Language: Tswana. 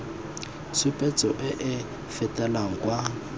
tshupetso e e fetelang kwa